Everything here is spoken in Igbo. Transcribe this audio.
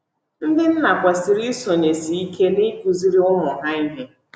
Ndị nna kwesịrị isonyesị ike n’ịkụziri ụmụ ha ihe